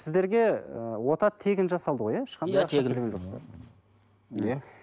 сіздерге ы ота тегін жасалды ғой иә иә